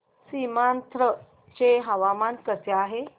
सीमांध्र चे हवामान कसे आहे